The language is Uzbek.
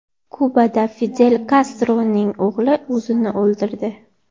Kubada Fidel Kastroning o‘g‘li o‘zini o‘ldirdi.